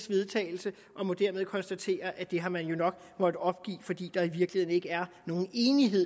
vedtagelse og må dermed konstatere at det har man jo nok måttet opgive fordi der i virkeligheden ikke er nogen enighed